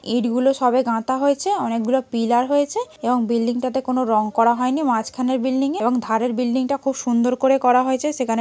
ইট গুলো সবে গাঁথা হয়েছে অনেকগুলো পিলার হয়েছে এবং বিল্ডিং -তে কোন রং করা হয়নি মাঝখানের বিল্ডিং -এ এবং ধারের বিল্ডিং -টা খুব সুন্দর করে করা হয়েছে সেখানে--